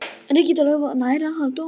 Reykjadalur nær að halda dyrunum opnum